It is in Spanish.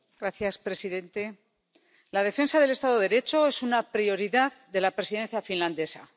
Señor presidente, la defensa del Estado de Derecho es una prioridad de la Presidencia finlandesa.